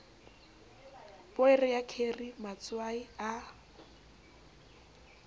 poere ya kheri matswai a